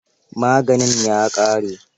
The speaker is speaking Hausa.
Maganin ya ƙare?